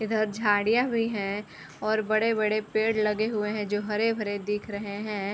इधर झाड़ियाँ हुई हैं और बड़े-बड़े पेड़ लगे हुए हैं जो हरे-भरे दिख रहे हैं।